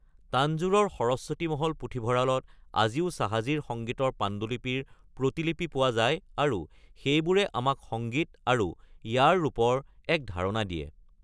তাঞ্জোৰৰ সৰস্বতী মহল পুথিভঁৰালত আজিও চাহাজীৰ সংগীতৰ পাণ্ডুলিপিৰ প্ৰতিলিপি পোৱা যায় আৰু সেইবোৰে আমাক সংগীত আৰু ইয়াৰ ৰূপৰ এক ধাৰণা দিয়ে।